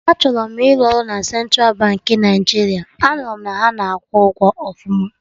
Achọrọ m ịrụ ọrụ na Central Baankị Naijiria, a nụrụ m na ha na-akwụ ụgwọ ọfụma